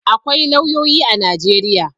Akwai lauyoyi a Najeriya.